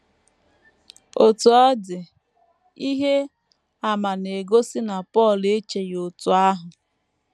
Otú ọ dị, ihe àmà na - egosi na Pọl echeghị otú ahụ.